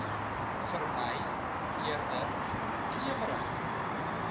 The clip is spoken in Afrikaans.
vermy eerder klewerige